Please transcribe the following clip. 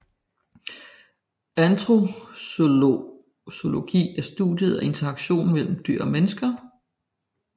Antrozoologi er studiet af interaktionen mellem mennesker og dyr